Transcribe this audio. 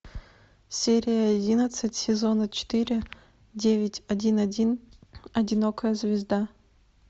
серия одиннадцать сезона четыре девять один один одинокая звезда